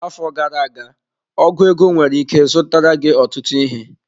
Afọ gara aga ọgu ego nwere ike zụtara gị ọtụtụ ihe.